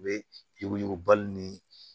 U bɛ yuguyugubaliw ni